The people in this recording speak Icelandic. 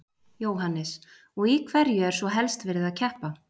Jóhannes: Og í hverju er svo helst verið að keppa?